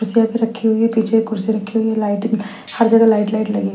पे रखी हुई है पीछे एक कुर्सी रखी हुई है लाइटिंग हर जगह लाइट लाइट लगी है।